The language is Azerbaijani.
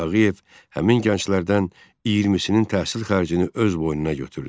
Tağıyev həmin gənclərdən 20-sinin təhsil xərcini öz boynuna götürdü.